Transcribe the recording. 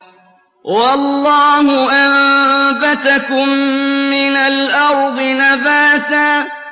وَاللَّهُ أَنبَتَكُم مِّنَ الْأَرْضِ نَبَاتًا